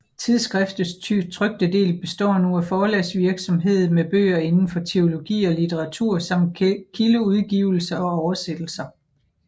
Tidsskriftets trykte del består nu af forlagsvirksomhed med bøger inden for teologi og litteratur samt kildeudgivelser og oversættelser